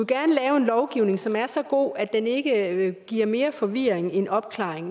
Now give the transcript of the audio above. gerne lave en lovgivning som er så god at den ikke giver mere forvirring end opklaring